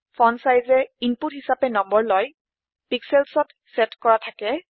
Fontsizeএ input হিচাপে number লয় pixelsত চেট কৰা থাকে